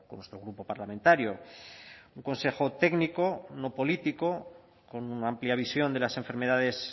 nuestro grupo parlamentario un consejo técnico no político con una amplia visión de las enfermedades